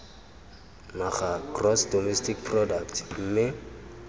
naga gross domestic product mme